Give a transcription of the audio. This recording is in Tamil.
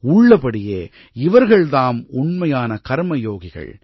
உள்ளபடியே இவர்கள் தாம் உண்மையான கர்மயோகிகள்